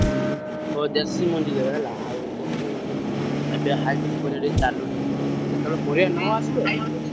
ହୁଁ କହ ଦେଶୀ ମଞ୍ଜି ଦେବେ ହେଲା ଆଉ ଦେଶୀ ମଞ୍ଜି ଏବେ hybrid ପରିବା ଟିକେ ଚାଲୁନି ।